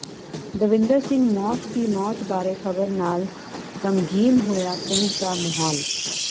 ਦਵਿੰਦਰ ਸਿੰਘ ਮੌਤ ਦੀ ਮੌਤ ਬਾਰੇ ਖ਼ਬਰ ਨਾਲ ਗ਼ਮਗੀਨ ਹੋਇਆ ਪਿੰਡ ਦਾ ਮਾਹੌਲ